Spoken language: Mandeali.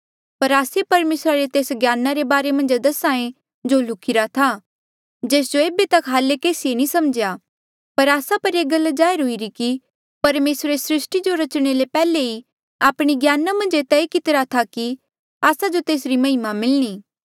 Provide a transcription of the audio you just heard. पर आस्से परमेसरा रे तेस ज्ञाना रे बारे मन्झ दस्हा ऐें जो लुख्ही रा था जेस जो ऐबे तक हाल्ले केसीए नी समझ्या पर आस्सा पर ये गल जाहिर हुईरी कि परमेसरे सृस्टी जो रचणे ले पेहले ही आपणे ज्ञाना मन्झ ये तय कितेया कि आस्सा जो तेसरी महिमा मिलणी